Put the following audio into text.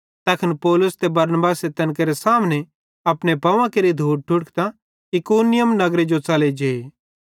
तैखन पौलुस ते बरनबासे तैन केरे सामने अपने पावां केरि धूड़ ठुड़कतां तैना इकुनियुम नगरे जो च़ले जे